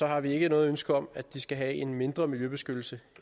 har vi ikke noget ønske om at de skal have mindre miljøbeskyttelse